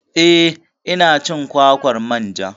Eh ina cin kwakwar manja